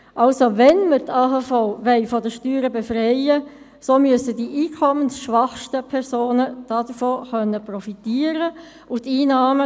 Also, wenn wir die AHV von den Steuern befreien wollen, so müssen die einkommensschwächsten Personen davon profitieren können.